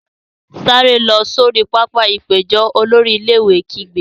Sáré lọ sori pápá-ìpéjọ! Olórí ilé-ìwé kígbe.